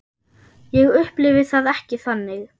Ég upplifi það ekki þannig.